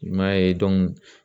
I m'a ye